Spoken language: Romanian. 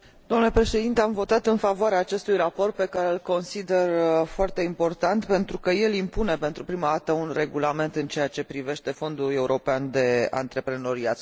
Am votat în favoarea acestui raport, pe care îl consider foarte important, pentru că el impune pentru prima dată un regulament în ceea ce privește Fondul European de Antreprenoriat Social.